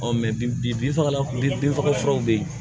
bi bi bin fagalan bin faga furaw be yen